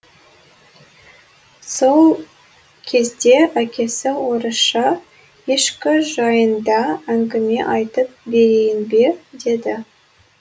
сол кезде әкесі орысша ешкі жайында әңгіме айтып берейін бе деді